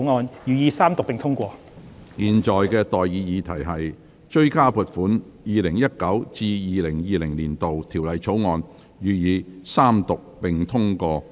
我現在向各位提出的待議議題是：《2020年性別歧視條例草案》，予以二讀。